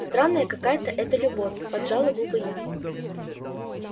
странная какая-то эта любовь поджала губы я